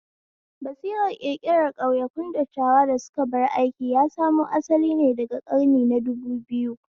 Basirar ƙirƙiran ƙauyakun dattawa da suka bar aiki ya samo asalin ne daga ƙarni na dubu biyu